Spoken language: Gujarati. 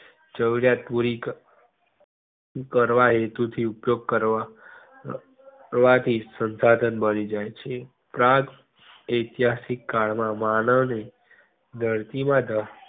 જરૂરિયાત પુરી ક કરવા હેતુ થી ઉપયોગ કરવા કરવાથી શંશાધન મળી જય છે. frans ઐતિહાસિક કલ માં માનવ ને ધરતી માં